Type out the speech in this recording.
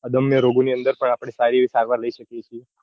અદમ્ય રોગો ની અંદર પણ આપડે સારી એવી સારવાર લઇ શકીએ છીએ.